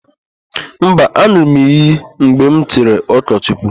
Ee, an̄ụrụ m iyi mgbe m chiri ụkọchukwu.